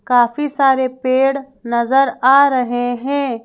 काफी सारे पेड़ नजर आ रहे हैं।